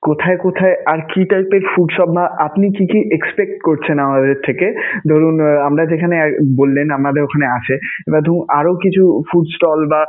কোথায় কোথায় আর কী type এর food shop ম্যা~ আপনি কী কী expect করছেন আমাদের থেকে? ধরুন, আমরা যেখানে বললেন আমাদের ঐখানে আছে বা ধরুন আরও কিছু food stall বা.